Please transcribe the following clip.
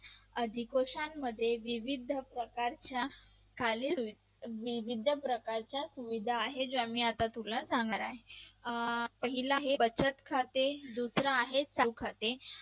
अधिकोशन मध्ये विविध प्रकारच्या विविध प्रकारच्या सुविधा आहेत ज्या मी तुला आता सांगणार आहे. पहिला आहे बचत खाते दुसरा आहे चौ खाते